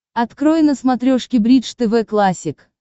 открой на смотрешке бридж тв классик